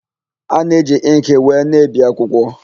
A na-eji ịnkị wee na-ebi akwụkwọ.